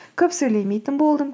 көп сөйлемейтін болдым